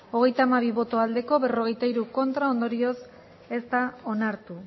hogeita hamabi bai berrogeita bi ez ondorioz ez da onartu